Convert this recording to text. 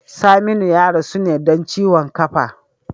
Saminu ya rasu ne don ciwon kafa.